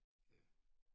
Ja